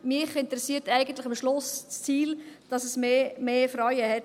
Mich interessiert eigentlich am Schluss das Ziel, dass es mehr Frauen hat.